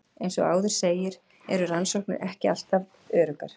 Eins og áður segir eru rannsóknir ekki alltaf öruggar.